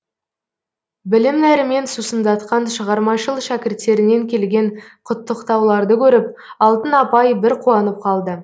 білім нәрімен сусындатқан шығармашыл шәкірттерінен келген құттықтауларды көріп алтын апай бір қуанып қалды